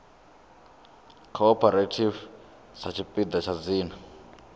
cooperative sa tshipiḓa tsha dzina